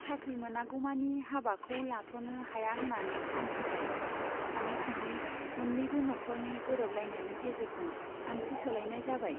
साख्रि मोनागौमानि हाबाखौ लाथ'नो हाया होन्नानै आं बुंबाय थाङै थुङै मोन्नैबो न'ख'रनि गोरोबलायनायनि गेजेरजों आंथि सोलायनाय जाबाय।